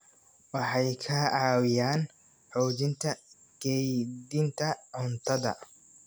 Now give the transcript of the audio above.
Waxay ka caawiyaan xoojinta kaydinta cuntada.